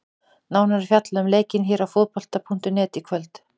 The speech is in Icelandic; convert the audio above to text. Nánar er fjallað um leikinn hér á Fótbolta.net í kvöld.